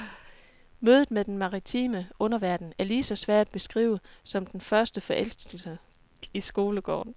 Mødet med den maritime underverden er lige så svær at beskrive som den første forelskelse i skolegården.